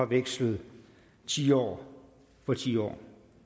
vekslet tiår for tiår